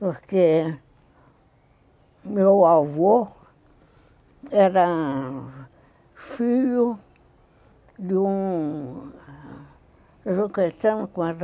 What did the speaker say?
Porque meu avô era filho de um... Eu não